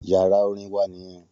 Yàrá orin wa nìyẹn.